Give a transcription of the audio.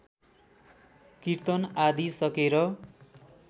किर्तन आदि सकेर